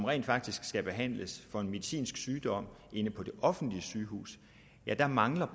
rent faktisk skal behandles for en medicinsk sygdom inde på det offentlige sygehus så mangler